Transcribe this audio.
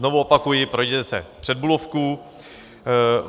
Znovu opakuji, projděte se před Bulovkou.